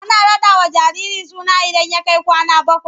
Ana raɗawa jariri suna idan ya kai kwana bakwai.